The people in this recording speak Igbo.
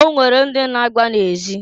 O nwere ndị na-agba na ezi.